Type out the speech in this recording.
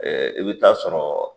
Ɛɛ e be t'a sɔrɔ